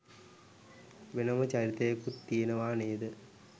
වෙනම චරිතයකුත් තියෙනවා නේද?